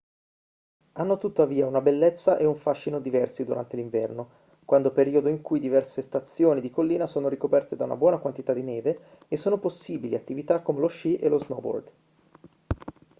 hanno tuttavia una bellezza e un fascino diversi durante l'inverno quando periodo in cui diverse stazioni di collina sono ricoperte da una buona quantità di neve e sono possibili attività come lo sci e lo snowboard